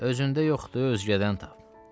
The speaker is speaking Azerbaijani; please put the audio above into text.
Özündə yoxdur, özgədən tap.